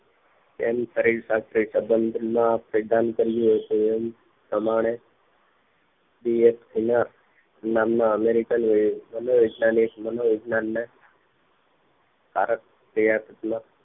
તેમ કરી તેને સાથે નો સબંધ નું સિધાંત કર્યું હતું એમ પ્રમાણે ફરી એક એના સામના અમેરીકાન મનોવૈજ્ઞાનિક મનોવૈજ્ઞાન ને કારક પ્રયત્ન